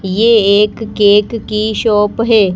ये एक केक की शॉप है।